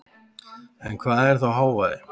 En hvað er þá hávaði?